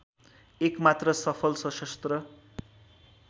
एकमात्र सफल सशस्त्र